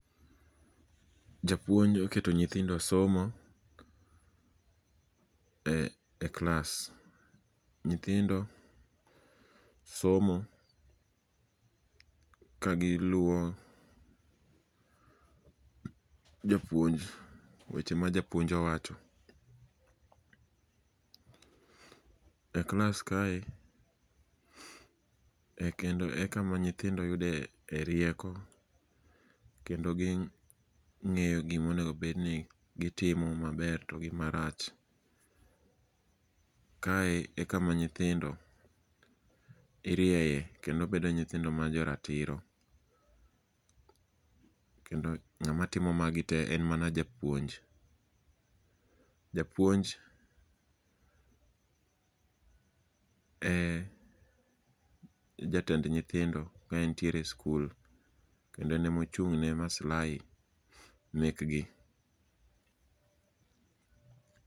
Japuonjo oketo nyithindo somo e klas. Nyithindo somo kagiluwo japuonj, weche ma japuonj owacho. E klas kae e kama nyithindo yude rieko kendo ging'eyo gimonego bed ni gitimo maber to gi marach. Kae e kama nyithindo irieye kendo bedo nyithindo ma jo ratiro, kendo ng'ama timo magi te en mana japuonj. Japuonj e jatend nyithindo ka entiere e skul. Kendo en emochung' ne maslahi mekgi.